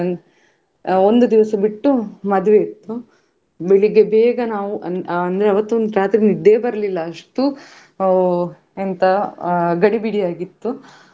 ಹಾಗೆ ನಮ್ಮ ಆ ನಾವು ಅಲ್ಲೇ ಆ ಮಧ್ಯಾಹ್ನದ ಊಟ ಆಗಿರ್ಬೋದು ಎಲ್ಲ ಅಲ್ಲೇ ಇತ್ತು ನಮ್ಗೆ ಅದೇ ಮತ್ತೇ ನಾವು ಮಧ್ಯಾಹ್ನ ನಂತರ ಪುನ ಅಲ್ಲೇ.